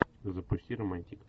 запусти романтик